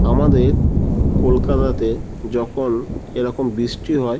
আমাদের ক কলকাতাতে যখন এরকম বৃষ্টি হয়।